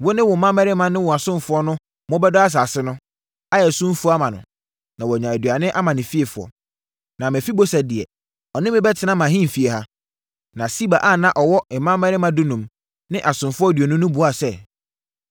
Wo ne wo mmammarima ne mo asomfoɔ na mobɛdɔ asase no, ayɛ so mfuo ama no, na wanya aduane ama ne fiefoɔ. Na Mefiboset deɛ, ɔne me bɛtena mʼahemfie ha.” Na Siba a na ɔwɔ mmammarima dunum ne asomfoɔ aduonu no buaa sɛ,